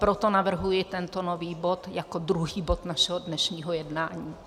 Proto navrhuji tento nový bod jako druhý bod našeho dnešního jednání.